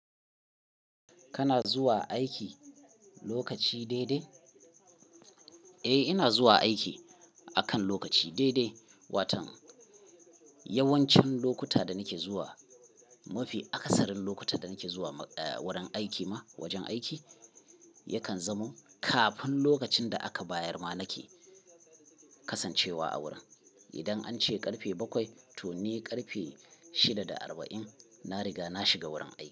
Kana zuwa aiki lokaci daidai? Eh, ina zuwa aiki akan lokaci daidai. Watan yawancin lokuta da nake zuwa, mafi akasarin lokuta da nake zuwa wurin aiki ma wajen aiki yakan zamo kafin lokacin da aka bayar ma nake kasancewa a wurin. Idan an ce karfe bakwai to ni karfe shida da arba'in na riga na shiga wurin aiki.